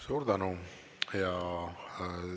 Suur tänu!